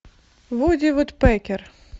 вуди вудпекер